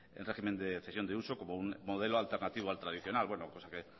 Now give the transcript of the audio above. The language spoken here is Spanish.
en régimen de cesión de uso como un modelo alternativo al tradicional bueno pues